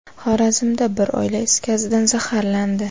Xorazmda bir oila is gazidan zaharlandi.